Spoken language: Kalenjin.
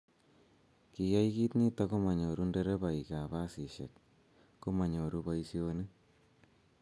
kiyai kiit nito komanyoru nderebaikab basisiek ko manyoru boisionik.